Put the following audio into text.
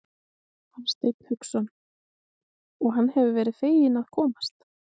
Hafsteinn Hauksson: Og hann hefur verið feginn að komast?